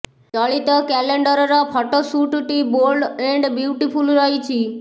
ଚଳିତ କ୍ୟାଲେଣ୍ଡରର ଫଟୋ ଶୁଟ୍ଟି ବୋଲ୍ଡ ଏଣ୍ଡ୍ ବ୍ୟୁଟିଫୁଲ୍ ରହିଛି